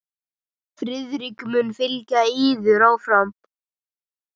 Friðrik mun fylgja yður áfram.